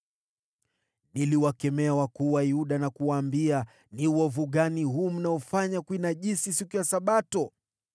Niliwakemea wakuu wa Yuda na kuwaambia, “Ni uovu gani huu mnaofanya wa kuinajisi siku ya Sabato?